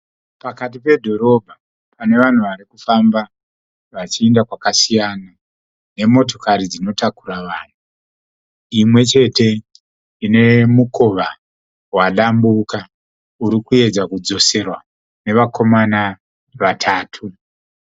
Pakati pedhorobha pane vanhu vari kufamba vachienda kwakasiyana nemotokari dzinotakura vanhu. Imwe chete ine mukova wadambuka uri kuedza kudzoserwa nevakomana vatatu.